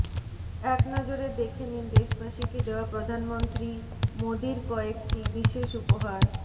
একনজরে দেখে নিন দেশবাসীকে দেওয়া প্রধানমন্ত্রী মোদীর কয়েকটি বিশেষ উপহার